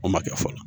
O ma kɛ fɔlɔ